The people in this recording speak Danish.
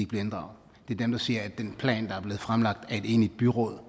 bliver inddraget det er dem der siger at den plan der er blevet fremlagt af et enigt byråd